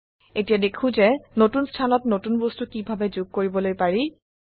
এতিয়া দেখো যে নতুন স্থানত নতুন বস্তু কিভাবে যোগ কৰিবলৈ পাৰি